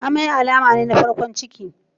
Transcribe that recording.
Amai alama ne ta farkon ciki.